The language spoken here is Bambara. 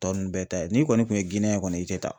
Tɔ ninnu bɛɛ ta ye n'i kɔni tun ye Giniyɛn ye kɔni i tɛ taa.